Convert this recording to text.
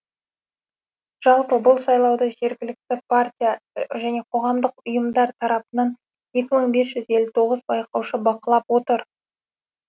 жалпы бұл сайлауды жергілікті партия және қоғамдық ұйымдар тарапынан екі мың бес жүз елу тоғыз байқаушы бақылап отыр